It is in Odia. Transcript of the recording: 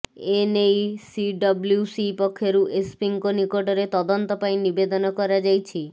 ଏନେଇ ସିଡବ୍ଲ୍ୟୁସି ପକ୍ଷରୁ ଏସ୍ପିଙ୍କ ନିକଟରେ ତଦନ୍ତ ପାଇଁ ନିବେଦନ କରାଯାଇଛି